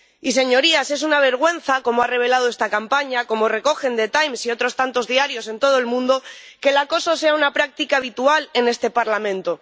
Y, señorías, es una vergüenza, como ha revelado esta campaña, como recogen The Times y otros tantos diarios en todo el mundo, que el acoso sea una práctica habitual en este Parlamento.